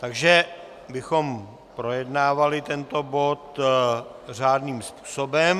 Takže bychom projednávali tento bod řádným způsobem.